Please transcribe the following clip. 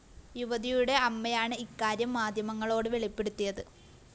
യുവതിയുടെ അമ്മയാണ് ഇക്കാര്യം മാധ്യമങ്ങളോട് വെളിപ്പെടുത്തിയത്